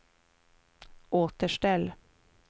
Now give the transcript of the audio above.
återställ